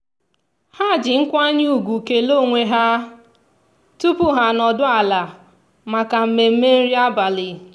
ha ji nkwanye ugwu kelee onwe ha tupu ha anọdụ ala maka mmemme nri abalị.